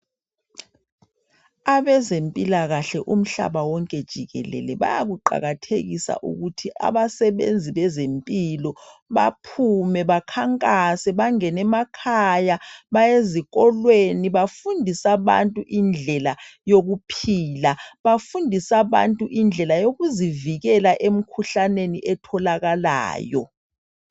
Abezempilakahle umhlaba wonke jikelele baya kuqakathekisa ukuthi abasebenzi bezempilo baphume bakhankasa bangene emakhaya bayezikolweni .Bafundise abantu indlela yokuphila. Bafundise abantu indlela yokuzivikela emikhuhlaneni etholakalayo.